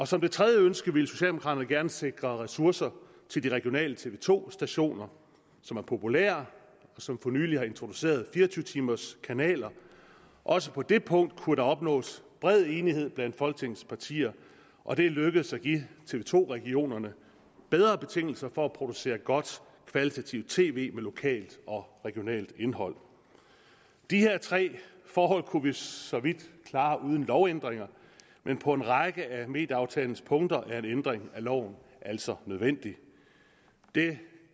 som det tredje ønske ville socialdemokraterne gerne sikre ressourcer til de regionale tv to stationer som er populære og som for nylig har introduceret fire og tyve timerskanaler også på det punkt kunne der opnås bred enighed blandt folketingets partier og det er lykkedes at give tv to regionerne bedre betingelser for at producere godt kvalitativt tv med lokalt og regionalt indhold de tre forhold kunne vi for så vidt klare uden lovændringer men på en række af medieaftalens punkter er en ændring af loven altså nødvendig det